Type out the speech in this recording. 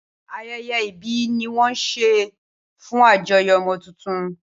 Ayẹyẹ ìbí ni wón ńṣe fún àjọyọ̀ ọmọ tuntun